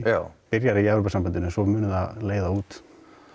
byrjar í Evrópusambandinu en svo mun það leiða út